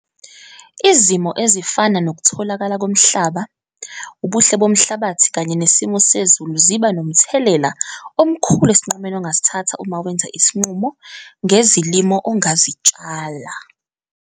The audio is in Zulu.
Izimo ezifana nokutholakala komhlaba, ubuhle bomhlabathi kanye nesimo sezulu ziba nomthelela omkhulu esinqumeni ongasithatha uma wenza isinqumo ngezilimo ongazitshala.